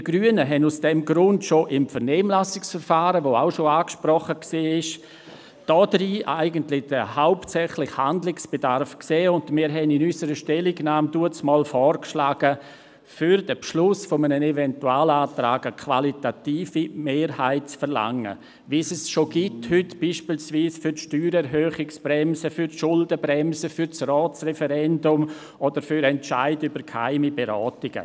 Wir Grünen hatten aus diesem Grund im bereits angesprochenen Vernehmlassungsverfahren den hauptsächlichen Handlungsbedarf und schlugen damals vor, für den Beschluss eines Eventualantrags eine qualifizierte Mehrheit zu verlangen, wie diese heute schon besteht, beispielsweise für die Steuererhöhungsbremsen, die Schuldenbremsen, für das Ratsreferendum oder für den Entscheid über geheime Beratungen.